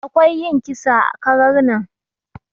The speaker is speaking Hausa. Akwai yin kisa ã karar nan.